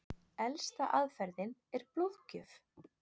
Elsta aðferðin er blóðgjöf.